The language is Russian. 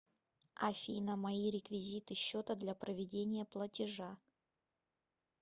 афина мои реквизиты счета для проведения платежа